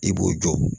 I b'o jɔ